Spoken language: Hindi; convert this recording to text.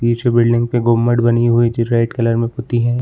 पीछे बिल्डिंग पे गुंबद बनी हुई जो रेड कलर में पुती है।